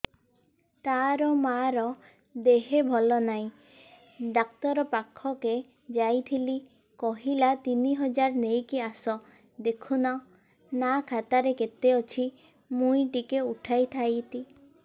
ତାର ମାର ଦେହେ ଭଲ ନାଇଁ ଡାକ୍ତର ପଖକେ ଯାଈଥିନି କହିଲା ତିନ ହଜାର ନେଇକି ଆସ ଦେଖୁନ ନା ଖାତାରେ କେତେ ଅଛି ମୁଇଁ ଟିକେ ଉଠେଇ ଥାଇତି